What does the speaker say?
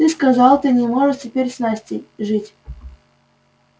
ты сказал ты не можешь теперь с настей жить